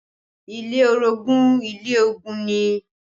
Ilé orogun ilé ogun ni